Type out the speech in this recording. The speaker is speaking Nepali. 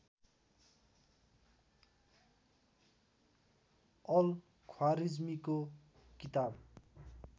अल ख्वारिज्मीको किताब